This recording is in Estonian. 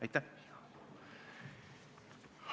Aitäh!